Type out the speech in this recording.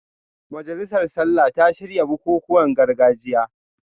Majalisar Sallah ta shirya bukukuwan gargajiya